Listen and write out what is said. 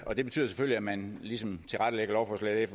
og det betyder selvfølgelig at man ligesom tilrettelægger lovforslaget